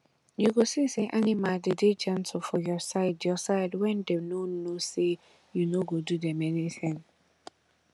you go see say animal dey dey gentle for your side your side wen dem no know say you no go do dem anything